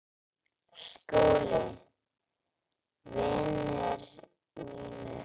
SKÚLI: Vinir mínir!